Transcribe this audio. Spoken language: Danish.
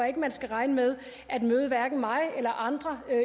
ikke man skal regne med at møde hverken mig eller andre